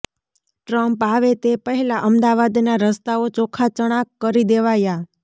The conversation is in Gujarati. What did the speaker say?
ટ્રમ્પ આવે તે પહેલા અમદાવાદના રસ્તાઓ ચોખ્ખા ચણાક કરી દેવાયા